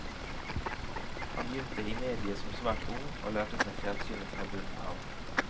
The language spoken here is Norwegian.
Han begynte i mediet som svært ung, og lærte seg fjernsynet fra bunnen av.